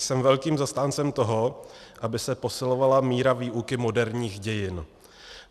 Jsem velkým zastáncem toho, aby se posilovala míra výuky moderních dějin.